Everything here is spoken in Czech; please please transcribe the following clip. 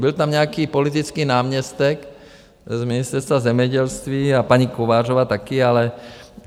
Byl tam nějaký politický náměstek z Ministerstva zemědělství a paní Kovářová také.